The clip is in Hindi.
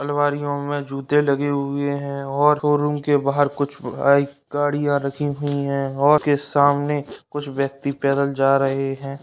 अल्मारीओं में जूते लगे हुए हैं और रूम के बाहर कुछ आईं गाड़ियाँ रखी हुई हैं के सामने कुछ ब्यक्ति पैदल जा रहे हैं।